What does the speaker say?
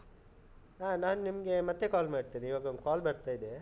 ಹಾ, ನಾನ್ ನಿಮ್ಗೆ, ಮತ್ತೆ call ಮಾಡ್ತೇನೆ, ಈವಾಗ ಒಂದ್ call ಬರ್ತಾ ಇದೆ.